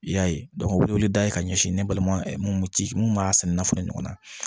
I y'a ye o bɛ weleweleda kɛ ka ɲɛsin ne balima mun ci mun b'a senna fana ɲɔgɔnna